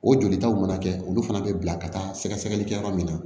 O jolitaw mana kɛ olu fana bɛ bila ka taa sɛgɛsɛgɛlikɛ yɔrɔ min na